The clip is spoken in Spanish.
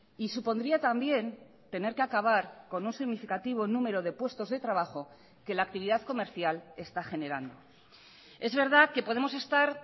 y supondría también tener que acabar con un significativo número de puestos de trabajo que la actividad comercial está generando es verdad que podemos estar